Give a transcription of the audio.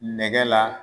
Nɛgɛ la